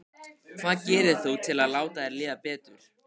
Hvað gerir þú til að láta þér líða betur?